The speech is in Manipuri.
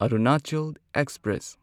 ꯑꯔꯨꯅꯥꯆꯜ ꯑꯦꯛꯁꯄ꯭ꯔꯦꯁ